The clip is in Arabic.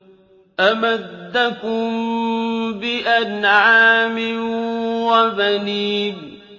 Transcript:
أَمَدَّكُم بِأَنْعَامٍ وَبَنِينَ